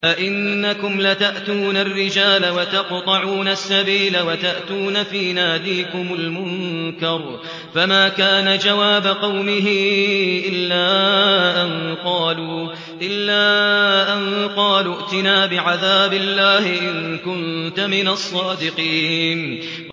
أَئِنَّكُمْ لَتَأْتُونَ الرِّجَالَ وَتَقْطَعُونَ السَّبِيلَ وَتَأْتُونَ فِي نَادِيكُمُ الْمُنكَرَ ۖ فَمَا كَانَ جَوَابَ قَوْمِهِ إِلَّا أَن قَالُوا ائْتِنَا بِعَذَابِ اللَّهِ إِن كُنتَ مِنَ الصَّادِقِينَ